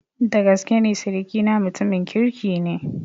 Dagaskene sirikina mutumin kirki ne.